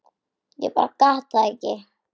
Ég bara gat það ekki.